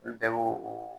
N bɛɛ b'o o